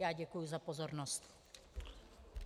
Já děkuji za pozornost.